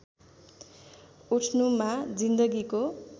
उठ्नुमा जिन्दगीको